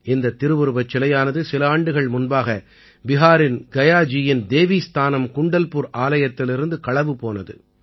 இந்தத் திருவுருவச் சிலையானது சில ஆண்டுகள் முன்பாக பிஹாரின் கயா ஜீயின் தேவீஸ்தானம் குண்டல்புர் ஆலயத்திலிருந்து களவு போனது